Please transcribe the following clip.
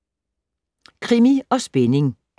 Krimi & spænding